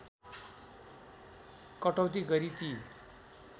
कटौती गरी ती